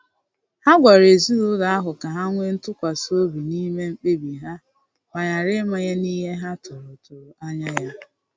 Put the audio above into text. Ha gwara ezinụlọ ahụ ka ha nwee ntụkwasi obi n'ime mkpebi ha ma ghara ịmanye n'ihe ha tụrụ tụrụ anya ya.